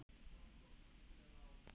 Hafþór: Hvert er markið?